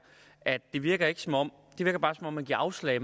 at det virker som om man bare giver afslag